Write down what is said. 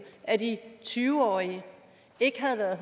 af de tyve årige ikke havde været